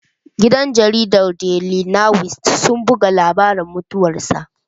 Gidan jaridar Daili niwis sun buga labari mutuwar sa